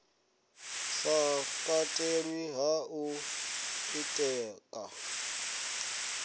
sa katelwi ha u ḓitika